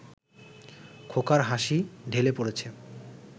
খোকার হাসি ঢেলে পড়েছে